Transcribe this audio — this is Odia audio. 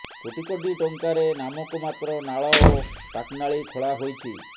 କୋଟି କୋଟି ଟଙ୍କାରେ ନାମକୁ ମାତ୍ର ନାଳ ଓ ପାଟନାଳୀ ଖୋଳା ହୋଇଛି